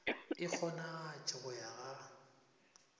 e kgonagatše go ya ga